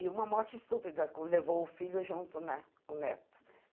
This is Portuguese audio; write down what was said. E uma morte estúpida que levou o filho junto né, o neto.